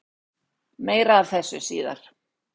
Meira af þessu síðar.